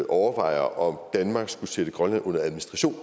overvejer om danmark skulle sætte grønland under administration